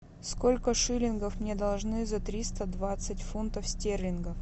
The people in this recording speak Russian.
сколько шиллингов мне должны за триста двадцать фунтов стерлингов